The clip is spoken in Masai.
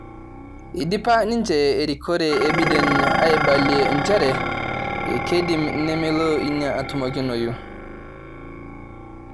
Eidipa ninje erikore e Biden aibalie njere kedim nemelo ina atumokinoyu